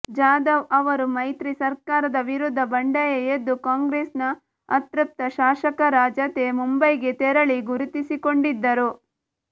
ಜಾಧವ್ ಅವರು ಮೈತ್ರಿ ಸರ್ಕಾರದ ವಿರುದ್ಧ ಬಂಡಾಯ ಎದ್ದು ಕಾಂಗ್ರೆಸ್ ನ ಅತೃಪ್ತ ಶಾಸಕರ ಜತೆ ಮುಂಬೈಗೆ ತೆರಳಿ ಗುರುತಿಸಿಕೊಂಡಿದ್ದರು